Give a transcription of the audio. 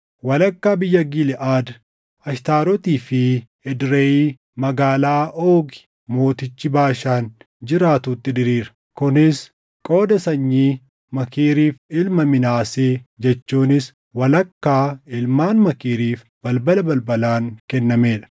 walakkaa biyya Giliʼaad, Ashtaarotii fi Edreyii, magaalaa Oogi mootichi Baashaan jiraatuutti diriira. Kunis qooda sanyii Maakiiriif ilma Minaasee jechuunis walakkaa ilmaan Maakiiriif balbala balbalaan kennamee dha.